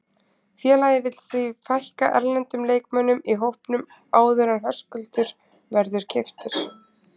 Félagið vill því fækka erlendum leikmönnum í hópnum áður en Höskuldur verður keyptur.